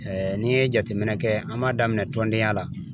n'i ye jateminɛ kɛ an b'a daminɛ tɔndenya la